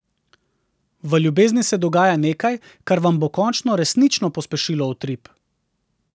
V ljubezni se dogaja nekaj, kar vam bo končno resnično pospešilo utrip.